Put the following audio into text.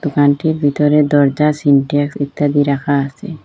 দোকানটির ভিতরে দরজা সিনট্যাক্স ইত্যাদি রাখা আসে।